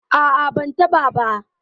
ah ah, ban taba ba